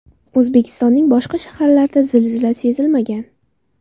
O‘zbekistonning boshqa shaharlarida zilzila sezilmagan.